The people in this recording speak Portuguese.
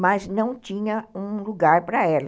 mas não tinha um lugar para ela.